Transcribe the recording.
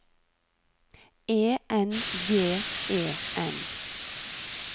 E N G E N